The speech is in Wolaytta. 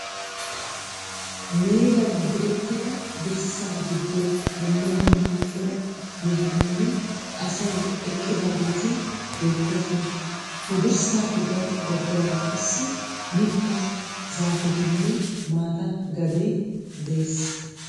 Meegan direttida dirssa giddon dumma dumma cora mehetinne asay eqqidaageti beettoosona. He dirssaappe gaxa baggaara qassi mittaa zaafetinne mata gadee de'ees.